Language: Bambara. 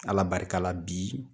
Ala barika la bi